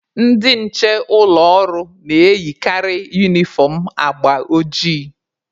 Ndị nche ụlọ ọrụ na-eyikarị unifọm agba ojii.